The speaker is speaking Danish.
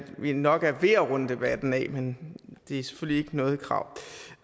vi nok er ved at runde debatten af men det er selvfølgelig ikke noget krav